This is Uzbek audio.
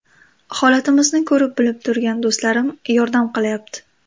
Holatimizni ko‘rib-bilib turgan do‘stlarim yordam qilyapti.